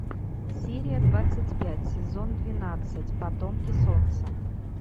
серия двадцать пять сезон двенадцать потомки солнца